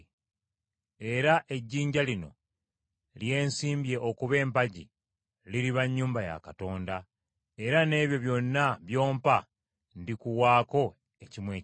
Era ejjinja lino lye nsimbye okuba empagi liriba nnyumba ya Katonda, era n’ebyo byonna by’ompa ndikuwaako ekimu eky’ekkumi.”